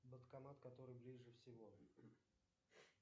банкомат который ближе всего